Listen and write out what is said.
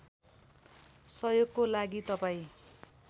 सहयोगको लागि तपाईँ